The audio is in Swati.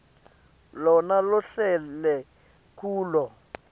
lona lohlele kulo